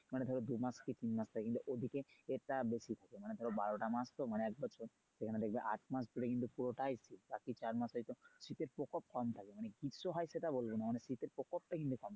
মানে ধরো দুই মাস শীত থাকে কিন্তু ওদিকে এটা বেশি থাকে মানে ধরো বারোটা মাস তো মানে একবছর এখানে দেখবে আটমাস ধরে কিন্তু পুরোটাই বাকি চারমাসেই তো শীতের প্রকোপ কম থাকে মানে গ্রীষ্ম হয় সেটা বলব না, মানে শীতের প্রকোপটা কিন্তু কম থাকে।